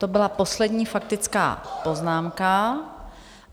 To byla poslední faktická poznámka.